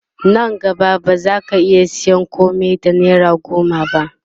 Nan gaba ba zaka iya sayan komai da naira goma ba